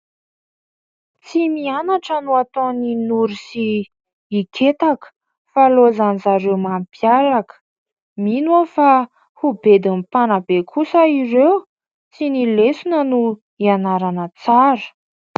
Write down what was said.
Tsy mianatra no ataon'i Noro sy i Ketaka fa ilaozan'izareo mampiaraka. Mino aho fa ho bedin'ny mpanabe kosa ireo. Tsy ny lesona no ianarana tsara.